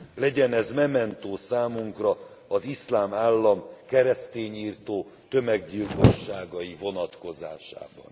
Legyen ez mementó számunkra az Iszlám Állam keresztényirtó tömeggyilkosságai vonatkozásában.